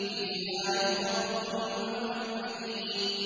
فِيهَا يُفْرَقُ كُلُّ أَمْرٍ حَكِيمٍ